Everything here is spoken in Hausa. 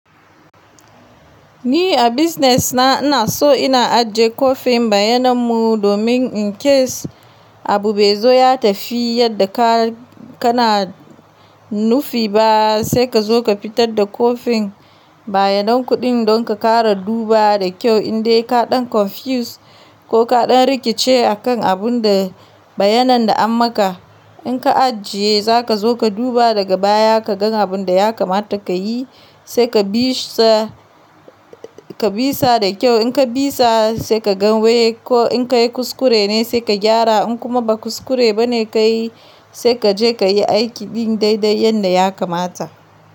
Ni, a business na ina so ina ajiye kwafin bayanan mu, domin in case abu bai zo ya tafi yadda ka kana nufi ba, sai ka zo ka fitar da kwafin bayanan kuɗin, don ka ƙara dubawa da kyau indai ka ɗan confuse ko ka ɗan rikice a kan abun da bayanan da an maka. In ka ajiye, za ka zo ka duba daga baya ka gan abun da ya kamata ka yi, sai ka bisa, ka bisa da kyau. In ka bisa, sai ka ga wai ko in ka yi kuskure ne sai ka gyara, in kuma ba kuskure ba ne ka yi, sai ka je ka yi aiki din daidai yanda ya kamata.